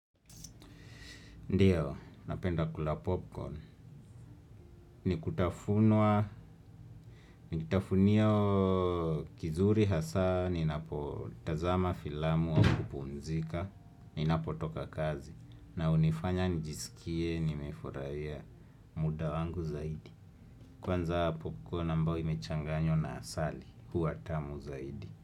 Ndiyo, napenda kula popcorn. Ni kitafunia kizuri hasa, ninapotazama filamu au kupumzika, ninapo toka kazi. Na hunifanya nijisikie, nimefurahia muda wangu zaidi. Kwanza popcorn ambao imechanganywa na asali, huwa tamu zaidi.